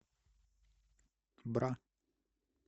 бра